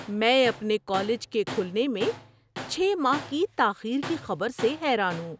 میں اپنے کالج کے کھلنے میں چھ ماہ کی تاخیر کی خبر سے حیران ہوں۔